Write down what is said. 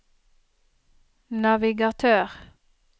navigatør